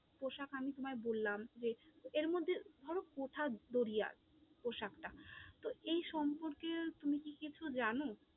পোশাক আমি তোমায় বললাম, যে এরমধ্যে ধরো কুঠার জরিয়া পোশাকটা, তো এই সম্পর্কে তুমি কি কিছু জানো?